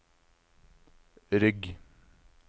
rygg